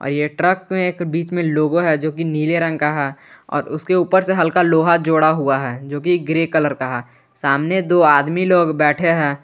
ये ट्रक में एक बीच में लोगो है जो कि नीले रंग का है और उसके ऊपर से हल्का लोहा जोड़ा हुआ है जो कि ग्रे कलर का है सामने दो आदमी लोग बैठे हैं।